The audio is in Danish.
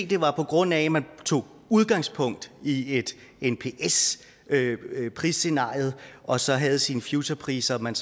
det var på grund af at man tog udgangspunkt i et nps prisscenarie og så havde sine futurepriser man